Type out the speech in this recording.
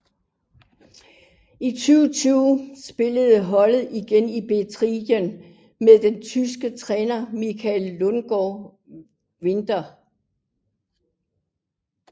I 2020 spiller holdet igen i Betrideildin med den tyske træner Michael Lundsgaard Winter